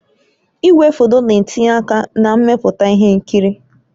Igwefoto na-etinye aka na mmepụta ihe nkiri